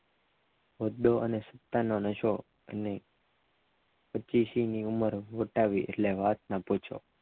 હોદ્દા અને સત્તાનો નશો અને ની ઉંમર વર્તાવી એટલે વાત ન પૂછો